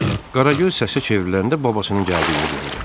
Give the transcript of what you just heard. Qaragöz səsə çevriləndə babasının gəldiyini gördü.